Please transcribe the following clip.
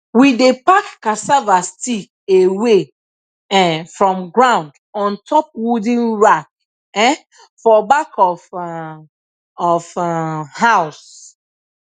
we dey pack cassava stick away um from ground on top wooden rack um for back of um of um house